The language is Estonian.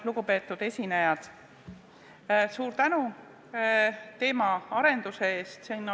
Lugupeetud esinejad, suur tänu teemaarenduse eest!